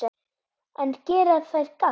En gera þær gagn?